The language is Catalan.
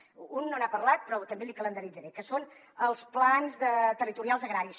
d’un no n’ha parlat però també l’hi calendaritzaré que són els plans territorials agraris